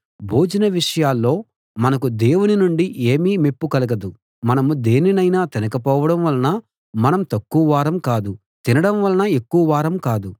భోజనం విషయంలో మనకు దేవుని నుండి ఏమీ మెప్పు కలగదు మనం దేనినైనా తినకపోవడం వలన మనం తక్కువ వారం కాదు తినడం వలన ఎక్కువ వారం కాదు